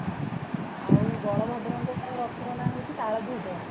ଆଉ ବଳ ଭଦ୍ର ରଥର ନା ହୋଉଛି ତାଳଧୋଜ